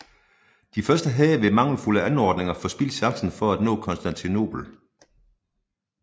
De første havde ved mangelfulde anordninger forspildt chancen for at nå Konstantinopel